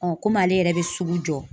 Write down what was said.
komi ale yɛrɛ bɛ sugu jɔ